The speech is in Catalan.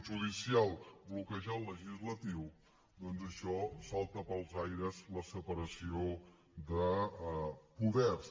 judicial bloquejar el legislatiu doncs això salta pels aires la separació de poders